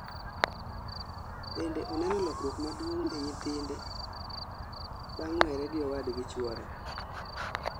Bende oneno lokruok maduong' e nyithinde bang' were gi owadgi chwore